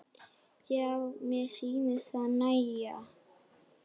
Já, mér sýnist það nægja!